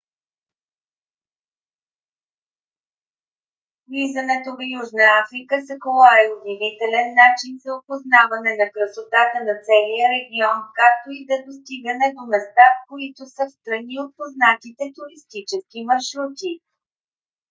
влизането в южна африка с кола е удивителен начин за опознаване на красотата на целия регион както и да достигане до места които са встрани от познатите туристически маршрути